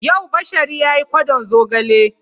Yau Bashari ya yi kwaɗon zogale.